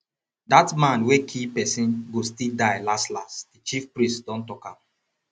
that man wey kee person go still die las las the chief priest don talk am